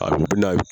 A bɛ na